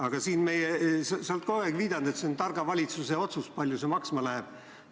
Aga sa oled kogu aeg viidanud, et on targa valitsuse otsus, kui palju see maksma läheb.